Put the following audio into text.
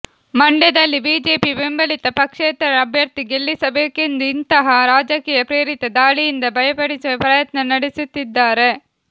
ಮಂಡ್ಯ ದಲ್ಲಿ ಬಿಜೆಪಿ ಬೆಂಬಲಿತ ಪಕ್ಷೇತರ ಅಭ್ಯರ್ಥಿ ಗೆಲ್ಲಿಸ ಬೇಕೆಂದು ಇಂತಹ ರಾಜಕೀಯ ಪ್ರೇರಿತ ದಾಳಿಯಿಂದ ಭಯಪಡಿಸುವ ಪ್ರಯತ್ನ ನಡೆಸುತ್ತಿದ್ದಾರೆ